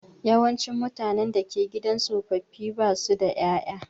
Yawancin mutane da ke gidan tsofaffi ba su da ƴaƴa.